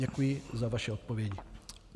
Děkuji za vaše odpovědi.